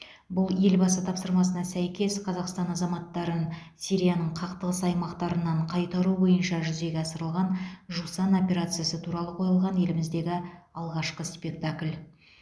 бұл елбасы тапсырмасына сәйкес қазақстан азаматтарын сирияның қақтығыс аймақтарынан қайтару бойынша жүзеге асырылған жусан операциясы туралы қойылған еліміздегі алғашқы спектакль